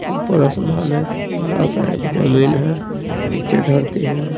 ऊपर आसमान है बड़ा सा एक जमीन है नीचे धरती है।